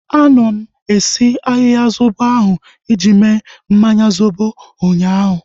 Anọ m esi ahịhịa zobo ahu iji mee mmanya zobo ụnyaahụ